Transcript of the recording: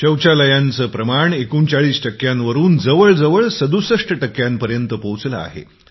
शौचालय सक्ती 39 टक्क्यांवरून जवळजवळ 67टक्क्यांवर पोहचला आहे